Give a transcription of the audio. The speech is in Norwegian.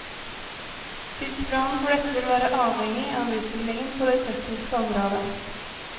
Tidsplanen for dette vil være avhengig av utviklingen på det tekniske området.